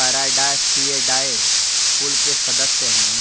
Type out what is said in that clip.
Paradisaeidae कुल के सदस्य हैं